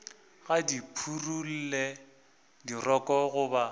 ga di phurelwe dirokolo goba